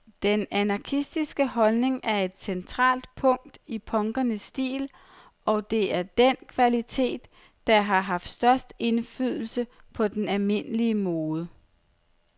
Den anarkistiske holdning er et centralt punkt i punkernes stil, og det er den kvalitet, der har haft størst indflydelse på den almindelige mode.